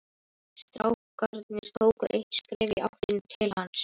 Strákarnir tóku eitt skref í áttina til hans.